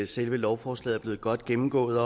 selve lovforslaget blevet godt gennemgået